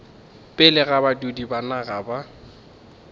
pele ga badudi ba naga